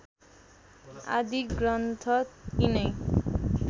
आदि ग्रन्थ यिनै